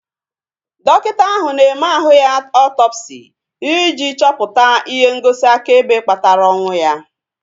Dọkịta ahu na-eme ahụ ya ọtọpsi ị ji chọpụta ihe ngosi akaebe kpatara ọnwụ ya